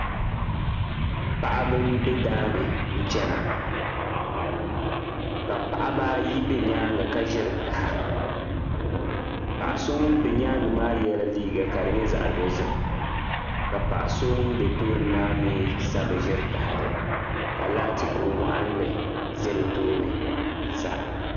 Paɣiba m-be daa ni chana ka paɣiba ayi be nyaaŋga ka ʒiri ʒaha. Paɣa so ŋum be nyaaŋga maa yɛla liiga ka di nyɛ zaɣ' dozim ka paɣa so ŋum be tooni maa sa bi bi ʒiri tahali ka laati kur' waɣinli za bɛ tooni sa.